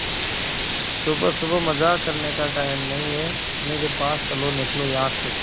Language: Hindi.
सुबह सुबह मजाक करने का टाइम नहीं है मेरे पास चलो निकलो यहां से